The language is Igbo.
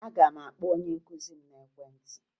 Aga m akpọ onye nkụzi m n'ekwentị